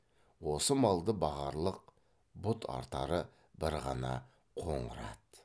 осы малды бағарлық бұт артары бір ғана қоңыр ат